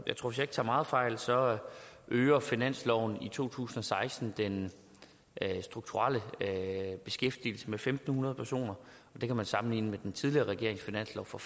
ikke tager meget fejl så øger finansloven to tusind og seksten den strukturelle beskæftigelse med fem hundrede personer det kan man sammenligne med den tidligere regerings finanslov for